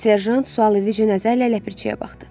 Serjant sualedici nəzərlə ləpirçiyə baxdı.